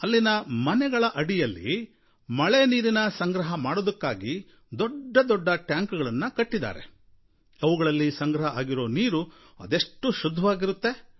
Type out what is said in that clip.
ಅಲ್ಲಿನ ಮನೆಗಳ ಅಡಿಯಲ್ಲಿ ಮಳೆ ನೀರಿನ ಸಂಗ್ರಹ ಮಾಡೋದಕ್ಕಾಗಿ ದೊಡ್ಡದೊಡ್ಡ ಟ್ಯಾಂಕುಗಳನ್ನು ಕಟ್ಟಿದ್ದಾರೆ ಅವುಗಳಲ್ಲಿ ಸಂಗ್ರಹ ಆಗಿರೋ ನೀರು ಅದೆಷ್ಟು ಶುದ್ಧವಾಗಿರುತ್ತೆ